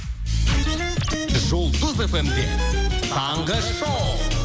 жұлдыз фм де таңғы шоу